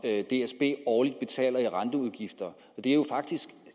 dsb årligt betaler i renteudgifter det er jo faktisk